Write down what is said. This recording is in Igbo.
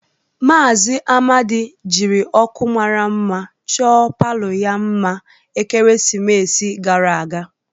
Maazị Amadi jiri ọkụ mara mma chọọ palọ ya mma ekeresimesi gara aga.